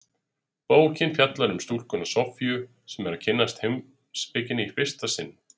Bókin fjallar um stúlkuna Soffíu sem er að kynnast heimspekinni í fyrsta sinn.